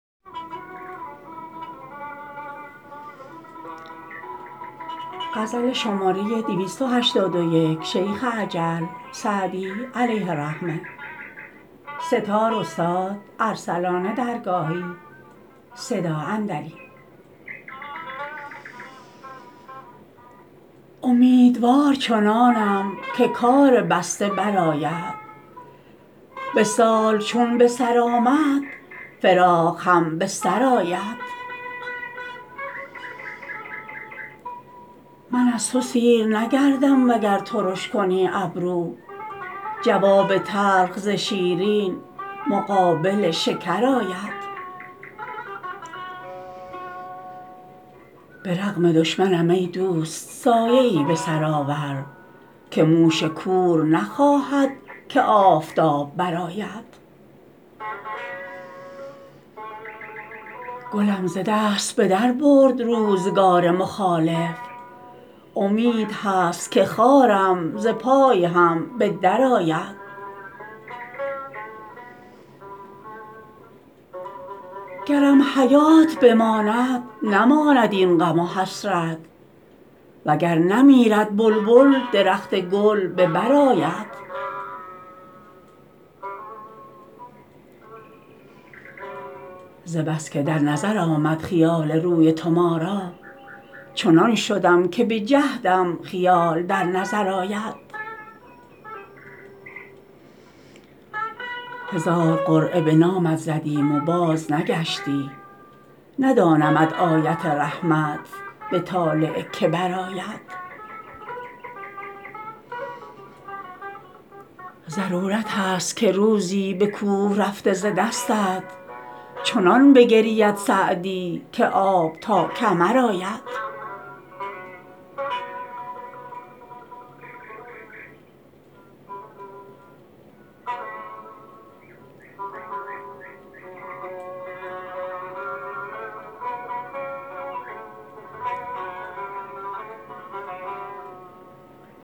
امیدوار چنانم که کار بسته برآید وصال چون به سر آمد فراق هم به سر آید من از تو سیر نگردم وگر ترش کنی ابرو جواب تلخ ز شیرین مقابل شکر آید به رغم دشمنم ای دوست سایه ای به سر آور که موش کور نخواهد که آفتاب برآید گلم ز دست به در برد روزگار مخالف امید هست که خارم ز پای هم به درآید گرم حیات بماند نماند این غم و حسرت و گر نمیرد بلبل درخت گل به بر آید ز بس که در نظر آمد خیال روی تو ما را چنان شدم که به جهدم خیال در نظر آید هزار قرعه به نامت زدیم و بازنگشتی ندانم آیت رحمت به طالع که برآید ضرورت ست که روزی به کوه رفته ز دستت چنان بگرید سعدی که آب تا کمر آید